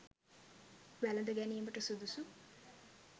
වැළඳගැනීමට සුදුසු